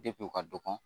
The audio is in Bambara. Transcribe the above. Depi u ka dɔgɔ